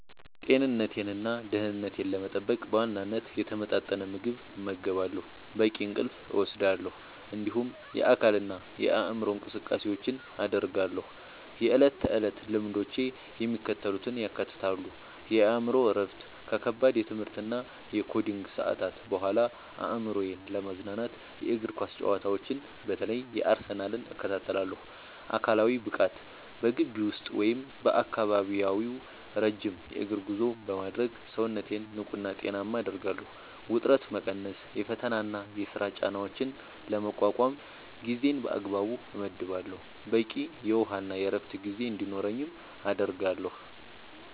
ጤንነቴንና ደህንነቴን ለመጠበቅ በዋናነት የተመጣጠነ ምግብ እመገባለሁ፣ በቂ እንቅልፍ እወስዳለሁ፣ እንዲሁም የአካልና የአእምሮ እንቅስቃሴዎችን አደርጋለሁ። የዕለት ተዕለት ልምዶቼ የሚከተሉትን ያካትታሉ፦ የአእምሮ እረፍት፦ ከከባድ የትምህርትና የኮዲንግ ሰዓታት በኋላ አእምሮዬን ለማዝናናት የእግር ኳስ ጨዋታዎችን (በተለይ የአርሰናልን) እከታተላለሁ። አካላዊ ብቃት፦ በግቢ ውስጥ ወይም በአካባቢው ረጅም የእግር ጉዞ በማድረግ ሰውነቴን ንቁና ጤናማ አደርጋለሁ። ውጥረት መቀነስ፦ የፈተናና የሥራ ጫናዎችን ለመቋቋም ጊዜን በአግባቡ እመድባለሁ፣ በቂ የውሃና የዕረፍት ጊዜ እንዲኖረኝም አደርጋለሁ።